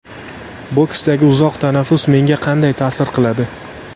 Boksdagi uzoq tanaffus menga qanday ta’sir qiladi?